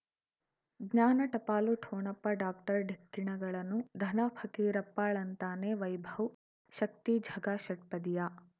ಜ್ಞಾನ ಟಪಾಲು ಠೊಣಪ ಡಾಕ್ಟರ್ ಢಿಕ್ಕಿ ಣಗಳನು ಧನ ಫಕೀರಪ್ಪ ಳಂತಾನೆ ವೈಭವ್ ಶಕ್ತಿ ಝಗಾ ಷಟ್ಪದಿಯ